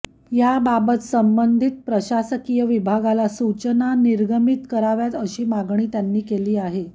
याबाबत संबंधीत प्रशासकीय विभागाला सुचना निर्गमीत कराव्यात अशी मागणी त्यांनी केली आहे